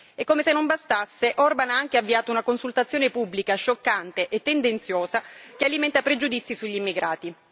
E come se non bastasse Orbán ha anche avviato una consultazione pubblica scioccante e tendenziosa che alimenta pregiudizi sugli immigrati.